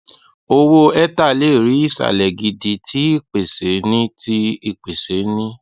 owo ether le ri isalẹ gidi ti ipese ni ti ipese ni